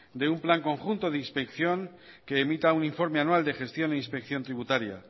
de un plan conjunto de inspección que emita un informe anual de gestión e inspección tributaria